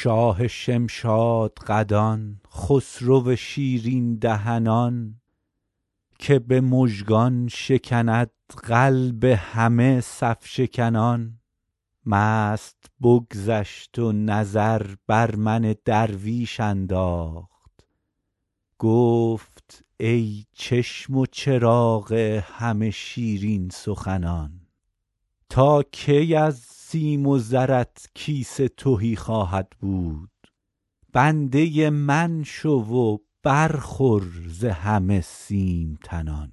شاه شمشادقدان خسرو شیرین دهنان که به مژگان شکند قلب همه صف شکنان مست بگذشت و نظر بر من درویش انداخت گفت ای چشم و چراغ همه شیرین سخنان تا کی از سیم و زرت کیسه تهی خواهد بود بنده من شو و برخور ز همه سیم تنان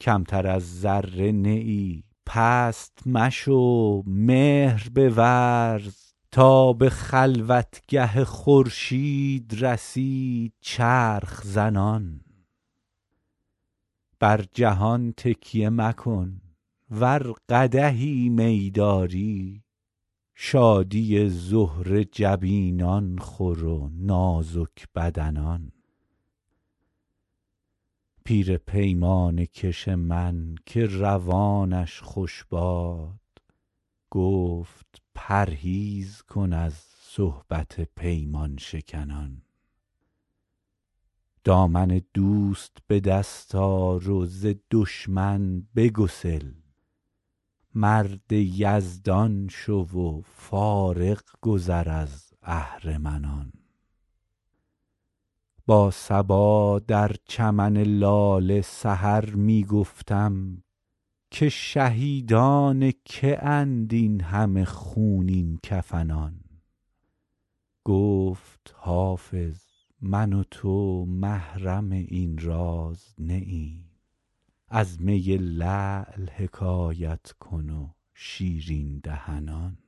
کمتر از ذره نه ای پست مشو مهر بورز تا به خلوتگه خورشید رسی چرخ زنان بر جهان تکیه مکن ور قدحی می داری شادی زهره جبینان خور و نازک بدنان پیر پیمانه کش من که روانش خوش باد گفت پرهیز کن از صحبت پیمان شکنان دامن دوست به دست آر و ز دشمن بگسل مرد یزدان شو و فارغ گذر از اهرمنان با صبا در چمن لاله سحر می گفتم که شهیدان که اند این همه خونین کفنان گفت حافظ من و تو محرم این راز نه ایم از می لعل حکایت کن و شیرین دهنان